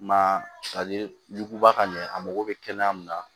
I ma ye ɲuguba ka ɲɛ a mago bɛ kɛnɛya min na